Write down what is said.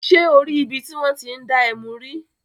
Ṣé o rí ibi tí wọ́n ti ń dá ẹmu rí?